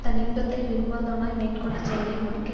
தன் இன்பத்தை விரும்பாதவனாய் மேற்க்கொண்டச் செயலை முடிக்க